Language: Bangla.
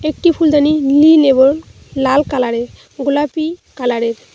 একটি ফুলদানি নীল এবং লাল কালারের গোলাপী কালারের।